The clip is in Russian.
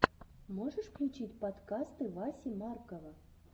можешь включить подкасты васи маркова